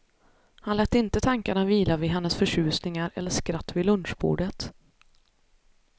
Han lät inte tankarna vila vid hennes förtjusningar, eller skratt vid lunchbordet.